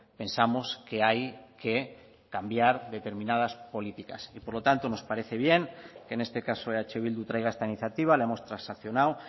pensamos que hay que cambiar determinadas políticas y por lo tanto nos parece bien que en este caso eh bildu traiga esta iniciativa la hemos transaccionado